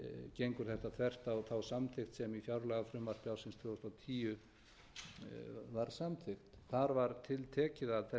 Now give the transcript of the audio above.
gengur þetta þvert á þá samþykkt sem í fjárlagafrumvarpi ársins tvö þúsund og tíu var samþykkt þar var tiltekið að þessi